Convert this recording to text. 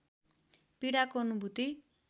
पीडाको अनुभुति